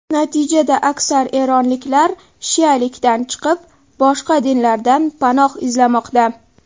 Natijada, aksar eronliklar shialikdan chiqib, boshqa dinlardan panoh izlamoqda.